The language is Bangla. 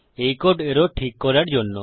এই কোড এরর ঠিক করার জন্য